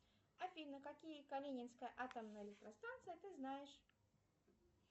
афина какие калининская атомная электростанция ты знаешь